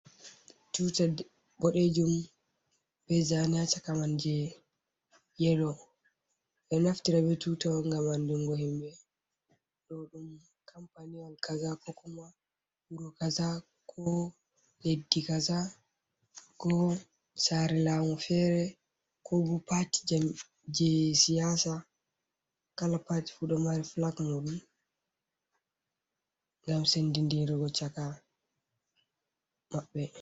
Tuta boɗeejum, be zane haa chaka man je yelo. Ɓe ɗo naftira be tuta ngam andungo himɓe ɗo ɗum kampaniwal kaza, ko kuma wuro kaza, ko leddi kaza ko saare laamu fere, ko bo paati jam je siyasa. Kala pat fu ɗo mari flak muɗum ngam sendindirigo chaka maɓɓe.